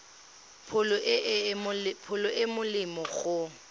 pholo e e molemo go